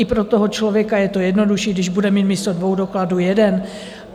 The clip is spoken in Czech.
I pro toho člověka je to jednodušší, když bude mít místo dvou dokladů jeden.